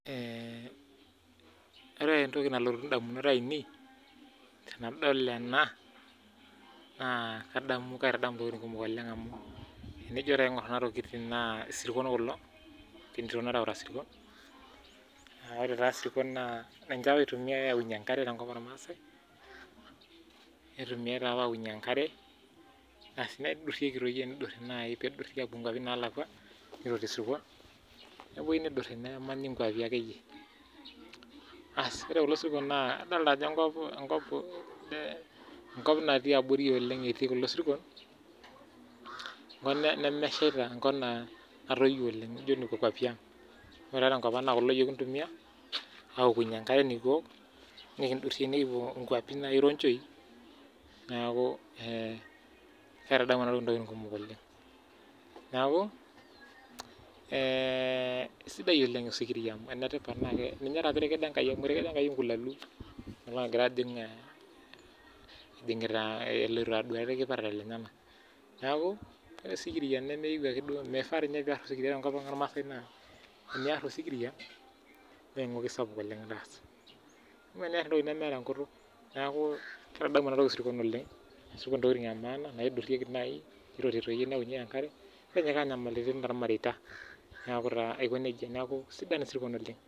Ore entoki nalotu indamunot ainei, tenadol ena, naa kadamu kaitadamu ntokiting kumok oleng amu, enijo taa aing'or kuna tokiting naa isirkon kulo, etii entito nareuta sirkon, na ore taa sirkon naa ninche apa itumiai aunye enkare tenkop ormaasai, nitumiai tapa aunye enkare, asi nidurrieki toi tenidurri nai nidurri apuo nkwapi nalakwa, niroti isirkon, nepoi nidurri nemanyi nkwapi akeyie. Asi ore kulo sirkon naa idolta ajo enkop, enkop natii abori oleng etii kulo sirkon, enkop nemeshaita, enkop naa natoyio oleng, nijo nekwa kwapi ang. Ore taa tenkop ang na kulo yiok kintumia, aokunye enkare nikiok, nikidurrie nikipuo inkwapi nai ironchoi, neeku eh kaitadamu enatoki intokiting kumok oleng. Neeku, eh sidai oleng osikiria amu enetipat na ninye tapa etekedo Enkai amu etekedo Enkai enkulalu alo agira ajing' ejing'ita eloito aduare irkipaareta lenyanak. Neeku, ore osikiria nemeyieu akeduo mifaa tinye piar tiatua enkop ang ormaasai naa, eniar osikiria, neng'oki sapuk itaasa. Amaa eniar entoki nemeeta enkutuk, neku kaitadamu enatoki isirkon oleng, ashu intokiting emaana naidurrieki nai, niroti toi neaunyeki enkare, nitinyikaa nyamalitin tormareita. Neeku taa aiko nejia, neku sidan isirkon oleng.